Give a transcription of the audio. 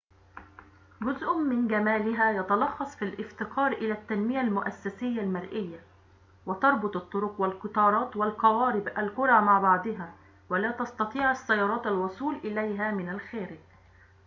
جزءٌ من جمالها يتلخص في الافتقار إلى التنمية المؤسسية المرئية.و تربط الطرق والقطارات والقوارب القرى مع بعضها ولا تستطيع السيارات الوصول إليها من الخارج